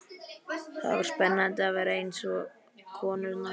Það var spennandi að vera eins og konurnar á